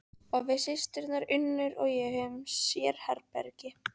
Og við systurnar Unnur og ég höfum sérherbergi.